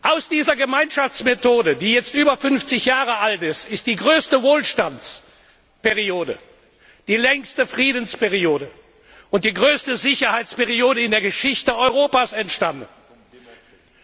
Aus dieser Gemeinschaftsmethode, die jetzt über 50 Jahre alt ist, ist die größte Wohlstandsperiode, die längste Friedensperiode und die größte Sicherheitsperiode in der Geschichte Europas geworden.